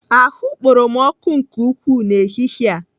Ahụ kporo m ọkụ nke ukwuu n'ehihie a.